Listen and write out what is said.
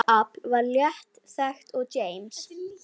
Gufuafl var lítt þekkt og James